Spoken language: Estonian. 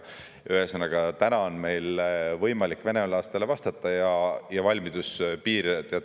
Ühesõnaga, täna on meil võimalik venelastele vastata ja on valmidus piir.